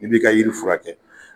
I b'i ka yiri furakɛ